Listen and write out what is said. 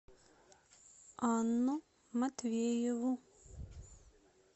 анну матвееву